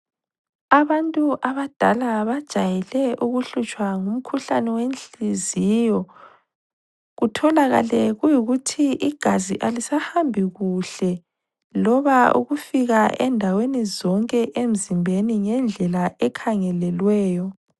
Abantu abadala bajayele ukuhlutshwa ngumkhuhlane wenhliziyo. Utholakale kuyikuthi igazi alisahambi kuhle loba ukufika endaweni zonke emzimbeni ngendlela ekhangelelweyo.